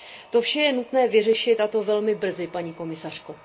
To vše je nutné vyřešit, a to velmi brzy, paní komisařko.